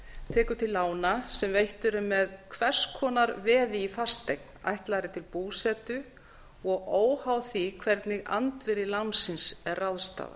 tekur til lána sem veitt eru með hvers konar veði í fasteign ætlaðri til búsetu og óháð því hvernig andvirði lánsins er ráðstafað